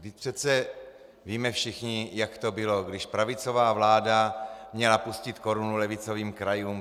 Vždyť přece víme všichni, jak to bylo, když pravicová vláda měla pustit korunu levicovým krajům.